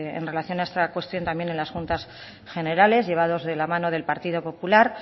en relación a esta cuestión también en las juntas generales llevados de la mano del partido popular